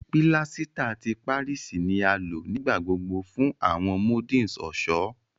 Pílásítà ti Páríìsì ni a lò nígbà gbogbo fún àwọn moldings ọ̀ṣọ́.